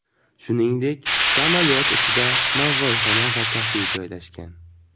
Shuningdek, samolyot ichida novvoyxona va kafe joylashgan.